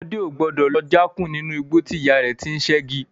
Ọmọ o gbọ́dọ̀ lọ já kún nínú igbó tí ìyá rẹ ti sẹ́gi.